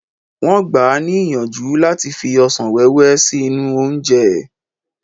Wọ́n gbà á ní ìyànjú láti fi ọsàn wẹ́wẹ́ sí inú oúnjẹ ẹ.